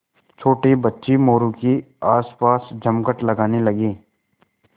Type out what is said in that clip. छोटे बच्चे मोरू के आसपास जमघट लगाने लगे